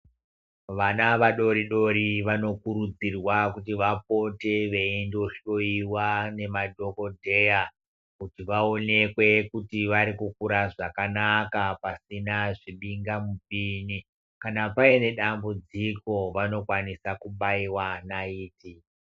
Vana vadori dori vanokurudzirwa kuti vapote veienda kohloyiwa ngemadhokodheya kuti vaonekwe kuti varikukura zvakanaka pasina zvibingamupini, kana paine dambudziko vanokwanisa kubaiwa nayithi.